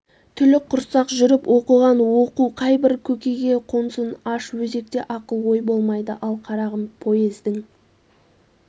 түлік құрсақ жүріп оқыған оқу қайбір көкейге қонсын аш өзекте ақыл ой болмайды ал қарағым поездің